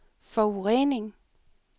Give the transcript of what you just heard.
forurening